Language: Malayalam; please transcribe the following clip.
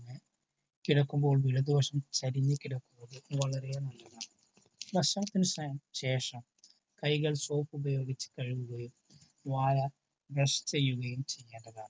കിടക്കുമ്പോൾ ഇടതുവശം ചരിഞ്ഞു കിടക്കുന്നതു വളരെ നല്ലതാണു. ഭക്ഷണത്തിനു ശേഷം കൈകൾ സോപ്പ് ഉപയോഗിച്ച് കഴുകുകയും വായ ബ്രഷ് ചെയ്യുകയും ചെയ്യേണ്ടതാണ്.